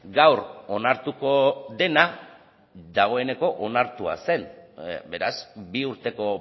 gaur onartuko dena dagoeneko onartua zen beraz bi urteko